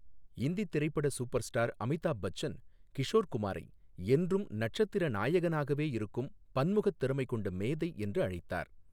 இந்தித் திரைப்பட சூப்பர்ஸ்டார் அமிதாப் பச்சன் கிஷோர் குமாரை என்றும் நட்சத்திர நாயகனாகவே இருக்கும் பன்முகத் திறமை கொண்ட மேதை என்று அழைத்தார்.